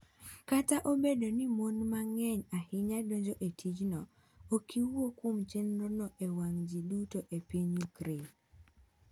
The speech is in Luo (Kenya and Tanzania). Kata obedo ni mon mang’eny ahinya donjo e tijno, ok iwuo kuom chenrono e wang’ ji duto e piny Ukraine.